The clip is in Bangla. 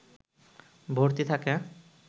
ভর্তি থাকে